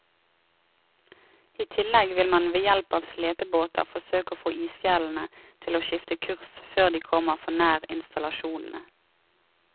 I tillegg vil man ved hjelp av slepebåter forsøke å få isfjellene til å skifte kurs før de kommer for nær installasjonene.